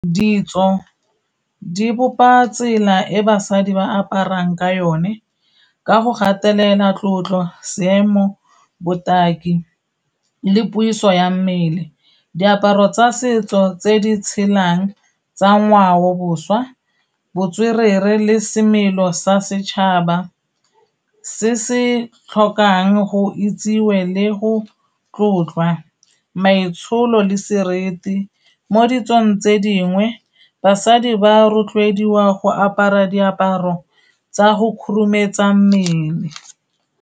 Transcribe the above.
Ditso di bopa tsela e basadi ba aparang ka yone, ka go gatelela tlotlo, seemo, botaki le puiso ya mmele. Diaparo tsa setso tse di tshelang tsa ngwao-boswa, botswerere le semelo sa setšhaba se se tlhokang go itsewe le go tlotlwa, maitsholo le sereti. Mo ditsong tse dingwe, basadi ba rotloediwa go apara diaparo tsa go khurumetsa mmele.